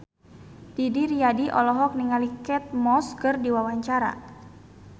Didi Riyadi olohok ningali Kate Moss keur diwawancara